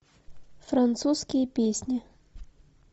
французские песни